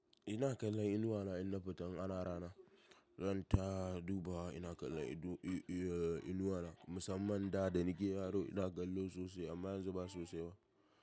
Ina kallon inuwa na, in na fita in ana rana, zan ta dubawa. Ina kallon i-i-inuwa na, musamman da da nake yaro ina kallo sosai amma yanzu ba sosai ba.